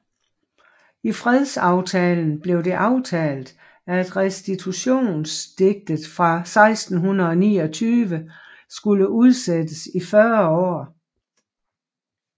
I fredsaftalen blev det aftalt at Restitutionsediktet fra 1629 skulle udsættes i 40 år